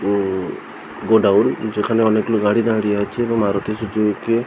উম godown যেখানে অনেক গুলি গাড়ি দাঁড়িয়ে আছে এবং আরো কিছু ।